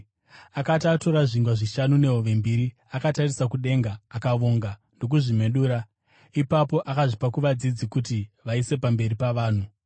Akati atora zvingwa zvishanu nehove mbiri akatarisa kudenga, akavonga ndokuzvimedura. Ipapo akazvipa kuvadzidzi kuti vaise pamberi pavanhu.